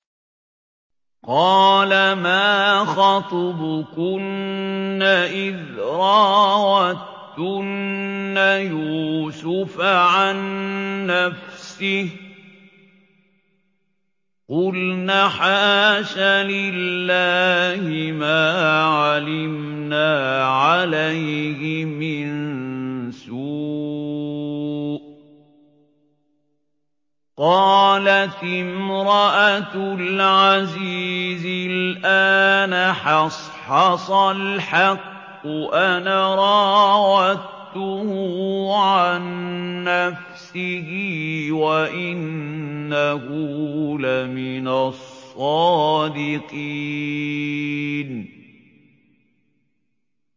قَالَ مَا خَطْبُكُنَّ إِذْ رَاوَدتُّنَّ يُوسُفَ عَن نَّفْسِهِ ۚ قُلْنَ حَاشَ لِلَّهِ مَا عَلِمْنَا عَلَيْهِ مِن سُوءٍ ۚ قَالَتِ امْرَأَتُ الْعَزِيزِ الْآنَ حَصْحَصَ الْحَقُّ أَنَا رَاوَدتُّهُ عَن نَّفْسِهِ وَإِنَّهُ لَمِنَ الصَّادِقِينَ